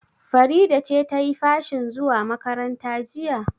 Farida ce ta yi fashin zuwa makaranta jiya?